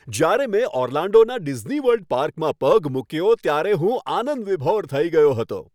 જ્યારે મેં ઓર્લાન્ડોના ડિઝનીવર્લ્ડ પાર્કમાં પગ મૂક્યો ત્યારે હું આનંદવિભોર થઈ ગયો હતો.